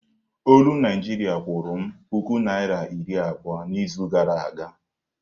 Olu Naịjiria kwụrụ m puku naịra iri abụọ n'izu gara aga.